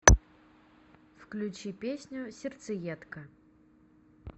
включи песню сердцеедка